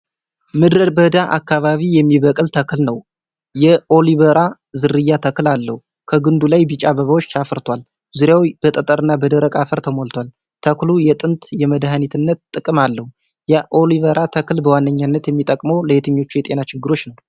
ምድረ በዳ አካባቢ የሚበቅል ተክል ነው። የኣሎቬራ ዝርያ ተክል አለው። ከግንዱ ላይ ቢጫ አበባዎች አፍርቷል። ዙሪያው በጠጠርና በደረቅ አፈር ተሞልቷል። ተክሉ የጥንት የመድኃኒትነት ጥቅም አለው። የኣሎቬራ ተክል በዋነኝነት የሚጠቅመው ለየትኞቹ የጤና ችግሮች ነው?